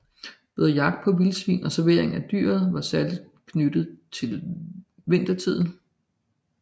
Både jagt på vildsvin og servering af dyret var særlig knyttet til vintertiden